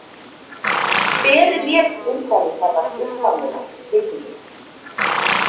Hver lék Einræðisherrann upphaflega í kvikmyndinni?